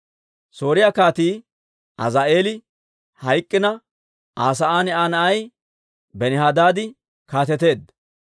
Sooriyaa Kaatii Azaa'eeli hayk'k'ina, Aa sa'aan Aa na'ay Benihadaadi kaateteedda.